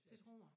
Det tror jeg